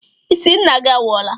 Ị sị Nna gị anwụọla?